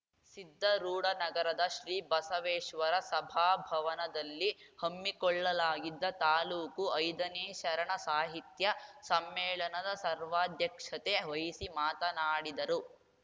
ಸಿದ್ದರೂಢನಗರದ ಶ್ರೀ ಬಸವೇಶ್ವರ ಸಭಾಭವನದಲ್ಲಿ ಹಮ್ಮಿಕೊಳ್ಳಲಾಗಿದ್ದ ತಾಲೂಕು ಐದನೇ ಶರಣ ಸಾಹಿತ್ಯ ಸಮ್ಮೇಳನದ ಸರ್ವಾಧ್ಯಕ್ಷತೆ ವಹಿಸಿ ಮಾತನಾಡಿದರು